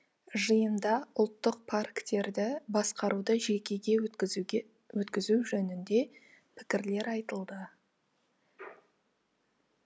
жиында ұлттық парктерді басқаруды жекеге өткізуге өткізу жөнінде пікірлер айтылды